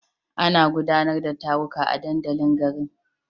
Ana gudanar da taruka a dandalin garin.